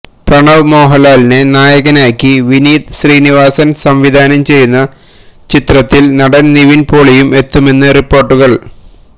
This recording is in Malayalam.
പ്രണവ് മോഹന്ലാലിനെ നായകനാക്കി വിനീത് ശ്രീനിവാസന് സംവിധാനം ചെയ്യുന്ന ചിത്രത്തില് നടന് നിവിന് പോളിയും എത്തുമെന്ന് റിപ്പോര്ട്ടുകള്